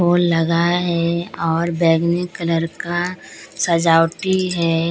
फूल लगा है और बैंगनी कलर का सजावटी है।